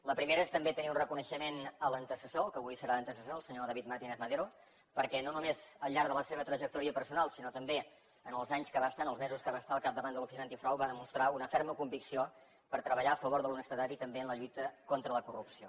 la primera és tenir també un reconeixement a l’antecessor al que avui serà antecessor el senyor david martínez madero perquè no només al llarg de la seva trajectòria personal sinó també en els anys que va estar en els mesos que va estar al capdavant de l’oficina antifrau va demostrar una ferma convicció per treballar a favor de l’honestedat i també en la lluita contra la corrupció